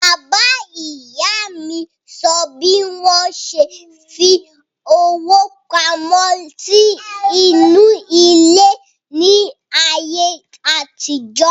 Bàbá ìyá mi sọ bí wọ́n ṣe fi owó pamọ́ sí inú ilẹ̀ ní àyè àtijọ́